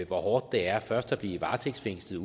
hvor hårdt det er først at blive varetægtsfængslet